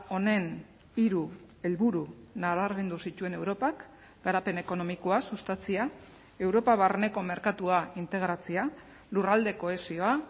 honen hiru helburu nabarmendu zituen europak garapen ekonomikoa sustatzea europa barneko merkatua integratzea lurralde kohesioa